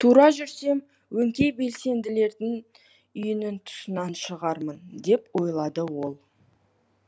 тура жүрсем өңкей белсенділердің үйінің тұсынан шығармын деп ойлады ол